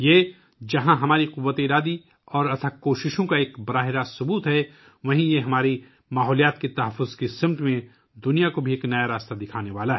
جہاں یہ ہماری قوتِ ارادی اور انتھک کوششوں کا براہِ راست ثبوت ہے، وہیں یہ دنیا کو ماحولیاتی تحفظ کی جانب ایک نیا راستہ بھی دکھانے والا ہے